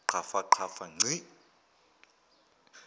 qhafa qhafa ngci